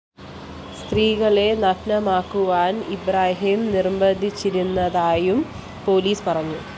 സ്ത്രീകളെ നഗ്നയാകുവാന്‍ ഇബ്രാഹിം നിര്‍ബന്ധിച്ചിരുന്നതായും പോലീസ് പറഞ്ഞു